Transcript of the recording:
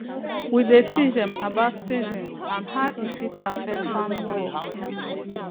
we dey teach dem about seasons and how e fit affect farming work